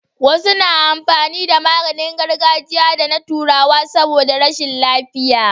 Wasu na amfani da maganin gargajiya da na turawa saboda rashin lafiya